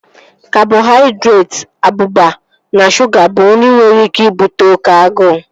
Kabọhaidretị, abụba na shuga bụ nri nwere ike ibute oké agụụ